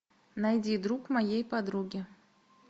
найди друг моей подруги